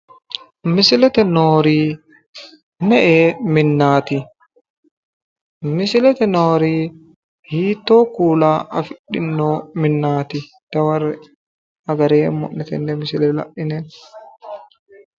Misilete noori me"e minnaati? misilete noori hiitttoo kuula afidhino minnaati? dawarre"e agareemmo'ne tenne la'ine?